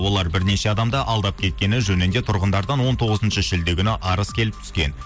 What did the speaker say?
олар бірнеше адамды алдап кеткені жөнінде тұрғындардан он тоғызыншы шілде күні арыз келіп түскен